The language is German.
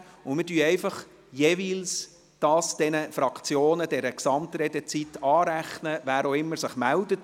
Wer auch immer sich meldet – wir werden die entsprechende Redezeit der Gesamtredezeit der jeweiligen Fraktion anrechnen.